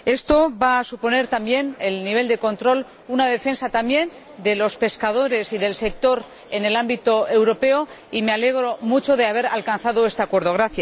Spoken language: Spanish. Esto va a suponer también un mayor nivel de control, una defensa también de los pescadores y del sector en el ámbito europeo, por lo que me alegro mucho de haber alcanzado este Acuerdo.